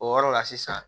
O yɔrɔ la sisan